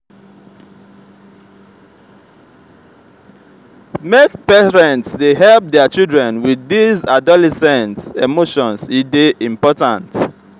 make parents dey help their children wit dese adolescent emotions e dey important.